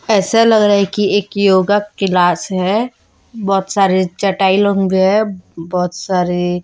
ऐसा लग रहा है कि एक योगा क्लास है बहुत सारे चटाई लोग हैं बहुत सारे--